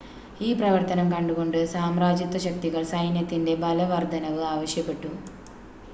ഈ പ്രവർത്തനം കണ്ടുകൊണ്ട് സാമ്രാജ്യത്വ ശക്തികൾ സൈന്യത്തിൻ്റെ ബലവർദ്ധനവ് ആവശ്യപ്പെട്ടു